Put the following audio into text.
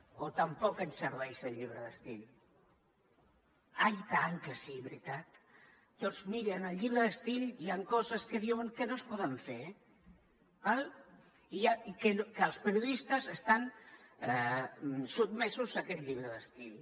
o tampoc ens serveix el llibre d’estil ai i tant que sí veritat doncs miri en el llibre d’estil hi han coses que diuen que no es poden fer d’acord i que els periodistes estan sotmesos a aquest llibre d’estil